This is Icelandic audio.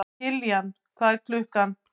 Kiljan, hvað er klukkan?